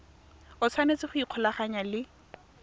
o tshwanetse go ikgolaganya le